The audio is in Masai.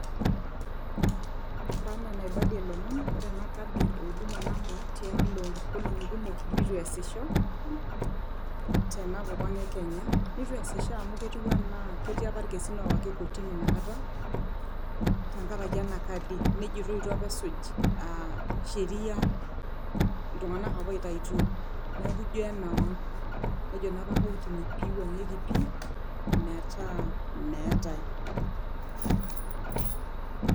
Ore enaa enaibalie ilomon, ore ena kadi e huduma namba tialaonkolongi kumok nitu easisho tena kop e kenya . Nitu asisho tina kata amu ketiu anaa ketii apa irkesin owaiki kotini tenkaraki ena kadi , nejoitoi itu apa esuj sheria iltunganak apa oitaituo . Neaku ijo emewang, nejo naapa kotini peiwuangieki pi metaa meetae.